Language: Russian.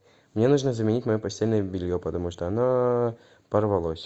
мне нужно заменить мое постельное белье потому что оно порвалось